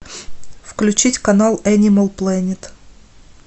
включить канал энимал плэнет